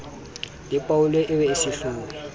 le polao eo e sehloho